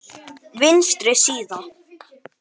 Vinstri síða